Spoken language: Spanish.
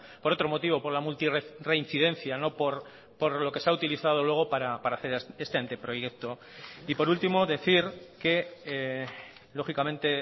por otro motivo por la multirreincidencia no por lo que se ha utilizado luego para hacer este anteproyecto y por último decir que lógicamente